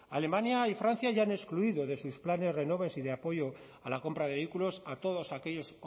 alemania y francia ya han excluido de sus planes renove y de apoyo a la compra de vehículos a todos aquellos